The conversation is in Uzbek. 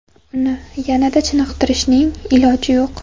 Uni yanada ko‘proq chiniqtirishning iloji yo‘q.